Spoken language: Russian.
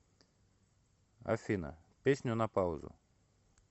афина песню на паузу